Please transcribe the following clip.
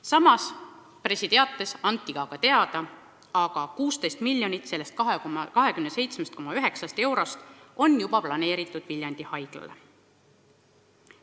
Samas pressiteates anti ka teada, et 16 miljonit sellest 27,9 miljonist eurost on juba planeeritud Viljandi Haiglale.